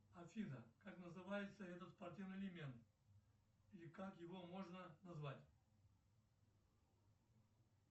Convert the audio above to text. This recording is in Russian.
афина как называется этот спортивный элемент и как его можно назвать